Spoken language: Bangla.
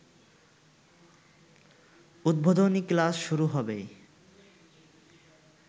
উদ্বোধনী ক্লাস শুরু হবে